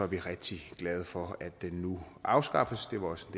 vi rigtig glade for at den nu afskaffes det var også